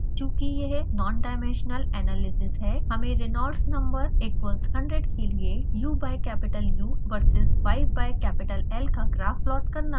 चूँकि यह nondimensional analysis है हमें reynolds number =100 के लिए u/u v/s y/l का ग्राफ प्लॉट करना है